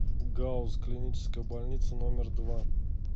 гауз клиническая больница номер два